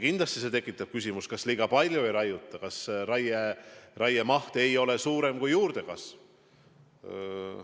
Kindlasti tekitab see küsimusi, kas mitte liiga palju ei raiuta ja kas raieraiemaht ei ole suurem kui juurdekasv.